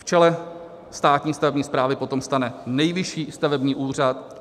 V čele státní stavební správy potom stane Nejvyšší stavební úřad.